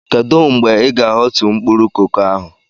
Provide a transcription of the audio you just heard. Kedu mgbe Ị ga-ahọtu mkpụrụ koko ahu?